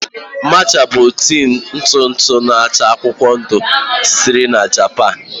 Matcha bụ tii ntụ ntụ n'acha akwụkwọ ndụ sitere na Japan